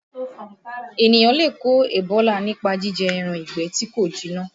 Ènìyàn lè kó Ebola nípa jíjẹ ẹran ìgbẹ́ tí kò jiná